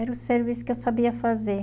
Era o serviço que eu sabia fazer.